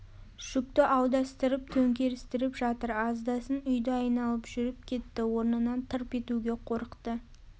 жүкті аударыстырып төңкерістіріп жатыр аздасын үйді айналып жүріп кетті орнынан тырп етуге қорықты